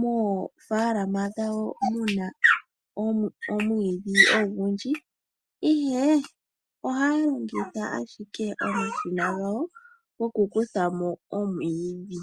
moofalama dhawo muna omwiidhi ogundji, ihe ohaya longitha ashike omashina gawo gokukuthamo omwiidhi.